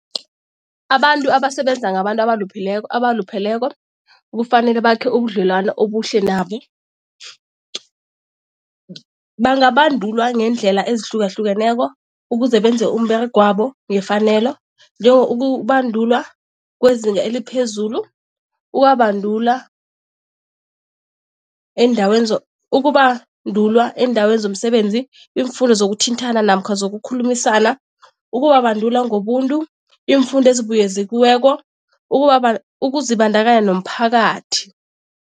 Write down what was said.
Abantu abasebenza ngabantu abalupheleko kufanele bakhe ubudlelwano obuhle nabo. Bangabandulwa ngeendlela ezihlukahlukeneko ukuze benze umberegwabo ngefanelo, njengokubandulwa kwezinga eliphezulu, ukubabandula eendaweni ukubandulwa eendaweni zomsebenzi, iimfundo zokuthintana namkha zokukhulumisana, ukubabandula ngobuntu, iimfundo ezibuyekeziweko, ukuzibandakanya nomphakathi.